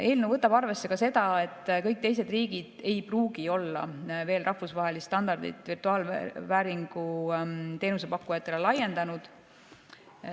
Eelnõu võtab arvesse ka seda, et kõik teised riigid ei pruugi olla veel rahvusvahelist standardit virtuaalvääringu teenuse pakkujatele laiendanud.